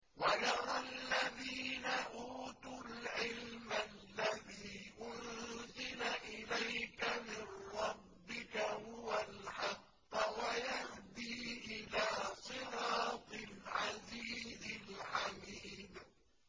وَيَرَى الَّذِينَ أُوتُوا الْعِلْمَ الَّذِي أُنزِلَ إِلَيْكَ مِن رَّبِّكَ هُوَ الْحَقَّ وَيَهْدِي إِلَىٰ صِرَاطِ الْعَزِيزِ الْحَمِيدِ